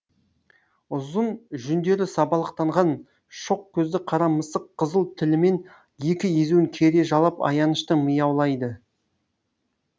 ұзын жүндері сабалақтанған шоқ көзді қара мысық қызыл тілімен екі езуін кере жалап аянышты мияулайды